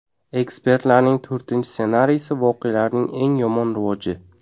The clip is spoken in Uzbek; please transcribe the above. Ekspertlarning to‘rtinchi ssenariysi voqealarning eng yomon rivoji.